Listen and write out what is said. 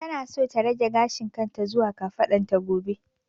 Tana so ta rage gashin kan ta zuwa kafadan ta gobe